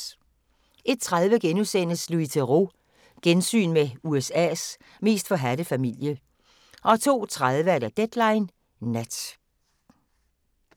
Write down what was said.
01:30: Louis Theroux – Gensyn med USA's mest forhadte familie * 02:30: Deadline Nat